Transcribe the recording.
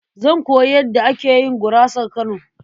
Zan koyi yadda ake yin gurasar Kano.